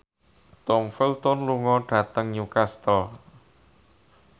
Tom Felton lunga dhateng Newcastle